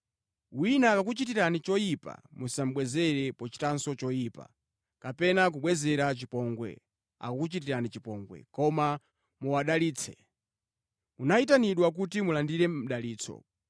Wina akakuchitirani choyipa musabwezere pochitanso choyipa, kapena kubwezera chipongwe akakuchitirani chipongwe, koma muwadalitse. Munayitanidwa kuti mulandire mdalitso.